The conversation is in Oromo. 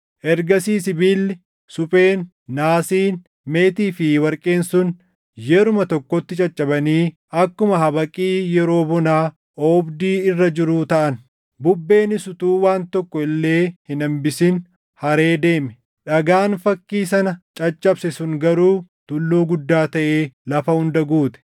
Ergasii sibiilli, supheen, naasiin, meetii fi warqeen sun yeruma tokkotti caccabanii akkuma habaqii yeroo bonaa oobdii irra jiruu taʼan. Bubbeenis utuu waan tokko illee hin hambisin haree deeme. Dhagaan fakkii sana caccabse sun garuu tulluu guddaa taʼee lafa hunda guute.